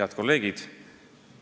Head kolleegid!